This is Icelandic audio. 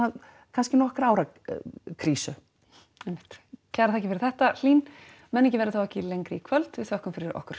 kannski nokkurra ára krísu einmitt kærar þakkir fyrir þetta Hlín menningin verður þá ekki lengri í kvöld við þökkum fyrir okkur